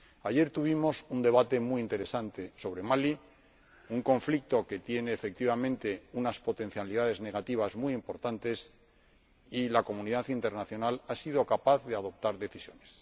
Ayer tuvimos un debate muy interesante sobre Mali, un conflicto que tiene, efectivamente, unas potencialidades negativas muy importantes, y la comunidad internacional ha sido capaz de adoptar decisiones.